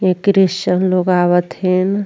ये क्रिश्चियन लोग आवत हन।